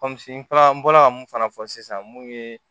n taara n bɔla mun fana fɔ sisan mun ye